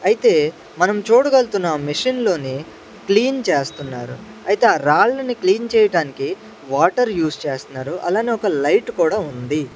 అయితే మనం చూడగల్తున్నాం మిషన్ లోని క్లీన్ చేస్తున్నారు అయితే ఆ రాళ్ళని క్లీన్ చేయటానికి వాటర్ యూస్ చేస్తున్నారు అలానే ఒక లైట్ కూడా ఉంది.